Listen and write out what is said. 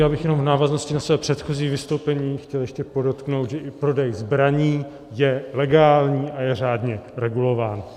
Já bych jenom v návaznosti na své předchozí vystoupení chtěl ještě podotknout, že i prodej zbraní je legální a je řádně regulován.